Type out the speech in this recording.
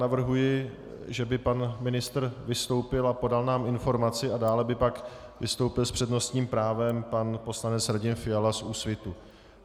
Navrhuji, že by pan ministr vystoupil a podal nám informaci, a dále by pak vystoupil s přednostním právem pan poslanec Radim Fiala z Úsvitu.